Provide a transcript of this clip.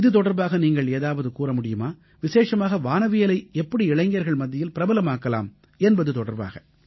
இது தொடர்பாக நீங்கள் ஏதாவது கூற முடியுமா விசேஷமாக வானவியலை எப்படி இளைஞர்கள் மத்தியில் பிரபலமாக்கலாம் என்பது தொடர்பாக